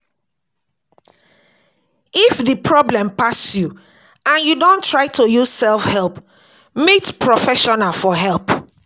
If di problem pass you and you don try to use self help, meet professions for help